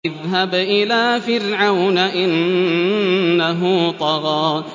اذْهَبْ إِلَىٰ فِرْعَوْنَ إِنَّهُ طَغَىٰ